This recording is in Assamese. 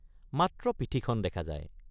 মাত্ৰ পিঠিখন দেখা যায়।